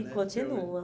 né? E continua.